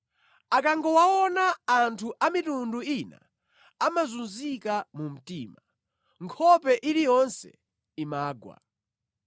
Akangowaona, anthu a mitundu ina amazunzika mu mtima; nkhope iliyonse imagwa.